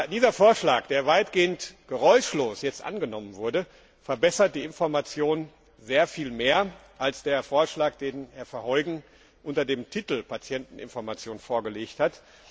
Dieser Vorschlag, der jetzt weitgehend geräuschlos angenommen wurde, verbessert die Information sehr viel mehr als der Vorschlag, den Herr Verheugen unter dem Titel Patienteninformation vorgelegt hat.